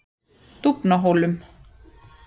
Dúfnahólum